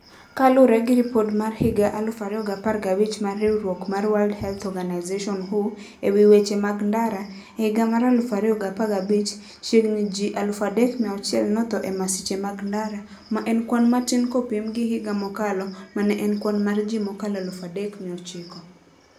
Kaluwore gi ripot mar higa 2015 mar riwruok mar World Health Organization (WHO) e wi weche mag ndara: E higa mar 2015, chiegni ji 3,6000 notho e masiche mag ndara, ma en kwan matin kopim gi higa mokalo, ma ne en kwan mar ji mokalo 3,900.